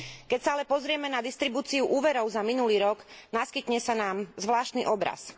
Keď sa ale pozrieme na distribúciu úverov za minulý rok, naskytne sa nám zvláštny obraz.